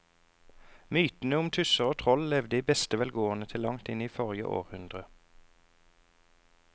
Mytene om tusser og troll levde i beste velgående til langt inn i forrige århundre.